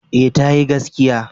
Eh tayi gaskiya.